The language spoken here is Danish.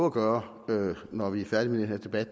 at gøre når vi er færdige med den her debat